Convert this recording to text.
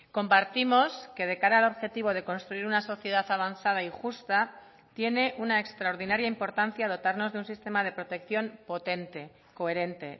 compartimos que de cara al objetivo de construir una sociedad avanzada y justa tiene una extraordinaria importancia dotarnos de un sistema de protección potente coherente